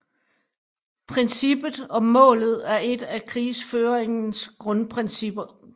Princippet om målet er et af krigsføringens grundprincipper